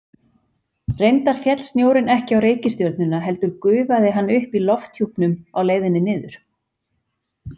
Reyndar féll snjórinn ekki á reikistjörnuna heldur gufaði hann upp í lofthjúpnum á leiðinni niður.